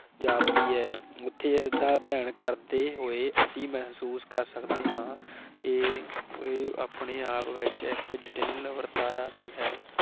ਜਾਪਦੀ ਹੈ, ਉਥੇ ਅਸੀ ਇਸ ਦਾ ਅਧਿਐਨ ਕਰਦੇ ਹੋਏ ਅਸੀਂ ਮਹਿਸੂਸ ਕਰ ਸਕਦੇ ਹਾ ਕਿ ਇਹ ਆਪਣੇ ਆਪ ਵਿਚ ਇਕ ਜਟਿਲ ਵਰਤਾਰਾ ਵੀ ਹੈ।